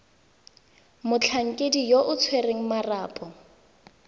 motlhankedi yo o tshwereng marapo